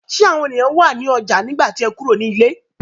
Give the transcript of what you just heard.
Ṣé àwọn ènìyàn wà ní ọjà nígbà tí o kúrò ní ilé?